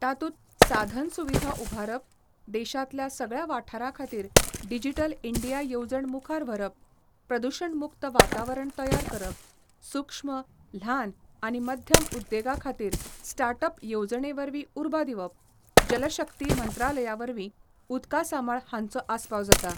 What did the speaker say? तातुंत साधनसुविधा उभारप, देशांतल्या सगळ्या वाठारांखातीर डिजीटल इंडिया येवजण मुखार व्हरप, प्रदूषण मुक्त वातावरण तयार करप, सुक्ष्म, ल्हान आनी मध्यम उद्देगाखातीर स्टाटअप येवजणेवरवीं उर्बा दिवप, जलशक्ती मंत्रालयावरवी उदकासामाळ हांचो आसपाव जाता.